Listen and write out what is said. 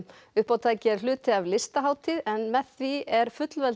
uppátækið er hluti af Listahátíð en með því er